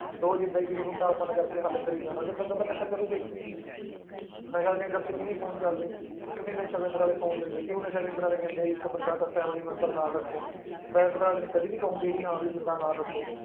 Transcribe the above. ਰੋਜ਼ ਏਦਾਂ ਹੀ ਕਿਸੇ ਨੂੰ ਢਾਹ ਭੰਨ ਕਰਕੇ ਹੱਲ ਕਰੀ ਜਾਣਾ ਫਿਰ ਬੰਦਾ ਤਾਂ ਨਸ਼ਾ ਕਰੇਗਾ ਹੀ ਨਸ਼ਾ ਕੇਂਦਰ ਚ ਕਿਉਂ ਨੀ phone ਚੱਲਦੇ, ਕਿਉਂ ਨੀ ਨਸ਼ਾ ਕੇਂਦਰ ਵਾਲੇ phone ਦਿੰਦੇ, ਕਿਉਂ ਨਸ਼ਾ ਕੇਂਦਰ ਵਾਲੇ ਕਹਿੰਦੇ ਆ ਇੱਕ ਬੰਦਾ ਸਿਰਫ਼ family ਮੈਂਬਰ ਨਾਲ ਰੱਖੋ private ਵਾਲੇ ਕਦੇ ਨੀ ਕਹੋਂਗੇ ਵੀ ਹਾਂ ਵੀ ਬੰਦਾ ਨਾਲ ਰੱਖੋ।